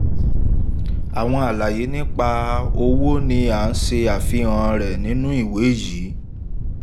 àwọn àlàyé nípa owó ni a se àfihàn re nínú ìwé yi.